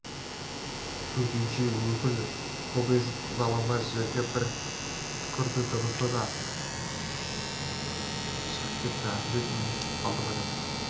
төтенше өкіл кобозев ызалана жерге бір түкірді дыбысы да шығып кетті әлдекім естіп қалды ма деп